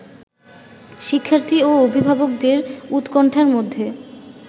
শিক্ষার্থী ও অভিভাবকদের উৎকণ্ঠার মধ্যে